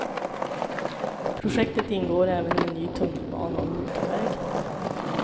I projektet ingår även en ny tunnelbana och motorväg.